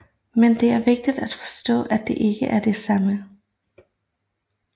Men det er vigtigt at forstå at de ikke er det samme